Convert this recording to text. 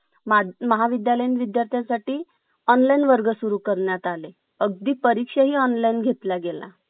Counter वर bill.